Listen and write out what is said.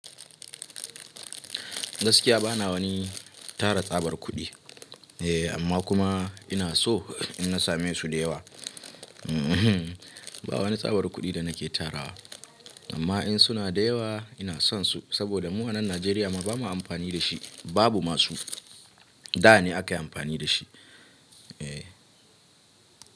Gaskiya bana wani tara tsabar kuɗi eh, amma kuma ina so in nasame su da yawa. Ba wani tsabar kuɗi da nake tarawa, amma in suna da yawa ina son su saboda mu wannan Najeriya ma ba ma amfani da shi, babu ma su. Da ne aka yi amfani da shi. Eh.